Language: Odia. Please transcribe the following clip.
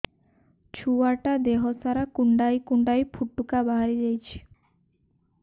ଛୁଆ ଟା ଦେହ ସାରା କୁଣ୍ଡାଇ କୁଣ୍ଡାଇ ପୁଟୁକା ବାହାରି ଯାଉଛି